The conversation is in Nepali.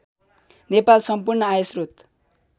नेपाल सम्पूर्ण आयश्रोत